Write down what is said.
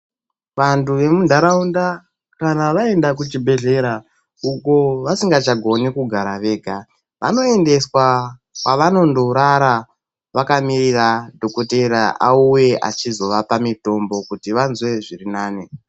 Vantu vemuntaraunda, kana vaenda kuchibhedhlera uko vasingachagoni kugara vega, vanoendeswa kwavanondorara vakamirira dhokodheya auye achizovapa mitombo kuti vazwe zvirinani.